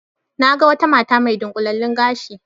Na ga wata mata mai dunƙulallen gashi